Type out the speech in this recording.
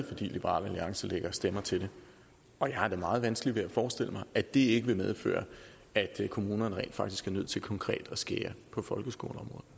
fordi liberal alliance lægger stemmer til det og jeg har da meget vanskeligt ved at forestille mig at det ikke vil medføre at kommunerne rent faktisk er nødt til konkret at skære på folkeskoleområdet